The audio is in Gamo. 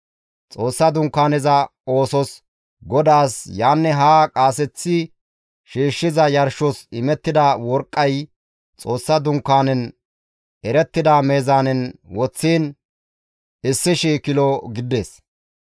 Xoossa Dunkaaneza oosos GODAAS yaanne haa qaaseththi shiishshiza yarshos imettida worqqay Xoossa Dunkaanen erettida meezaanen woththiin 1,000 kilo gidides.